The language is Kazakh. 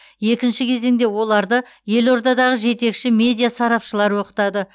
екінші кезеңде оларды елордадағы жетекші медиа сарапшылар оқытады